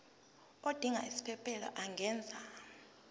odinga isiphesphelo angenza